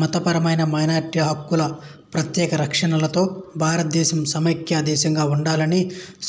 మతపరమైన మైనారిటీల హక్కుల ప్రత్యేక రక్షణలతో భారతదేశం సమైక్య దేశంగా ఉండాలని